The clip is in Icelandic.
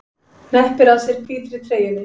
Hneppir að sér hvítri treyjunni.